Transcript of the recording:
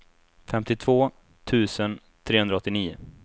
femtiotvå tusen trehundraåttionio